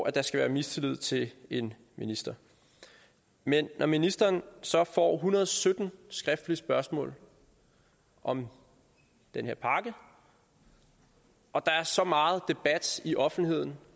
at der skal være mistillid til en minister men når ministeren så får hundrede og sytten skriftlige spørgsmål om den her pakke og der er så meget debat i offentligheden